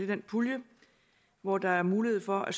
den pulje hvor der er mulighed for at